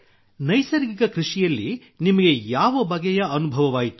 ನೈಸರ್ಗಿಕ ಕೃಷಿಯಲ್ಲಿ ನಿಮಗೆ ಯಾವ ಬಗೆಯ ಅನುಭವವಾಯಿತು